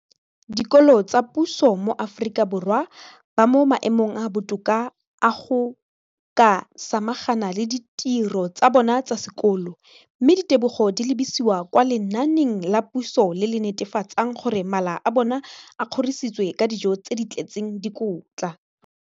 dikolo tsa puso mo Aforika Borwa ba mo maemong a a botoka a go ka samagana le ditiro tsa bona tsa sekolo, mme ditebogo di lebisiwa kwa lenaaneng la puso le le netefatsang gore mala a bona a kgorisitswe ka dijo tse di tletseng dikotla.